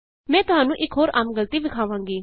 ਮੈਂ ਤੁਹਾਨੂ ਇਕ ਹੋਰ ਆਮ ਗਲਤੀ ਦਿਖਾਵਾਂਗੀ